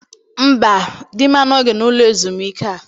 Mba, di m anọghị n'ụlọ ezumike a.